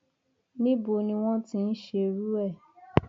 níbo ni wọn ti ń ṣerú ẹ